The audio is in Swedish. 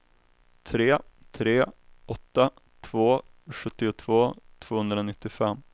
tre tre åtta två sjuttiotvå tvåhundranittiofem